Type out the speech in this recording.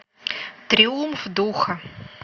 триумф духа